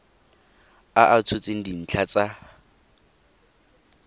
a a tshotseng dintlha tsa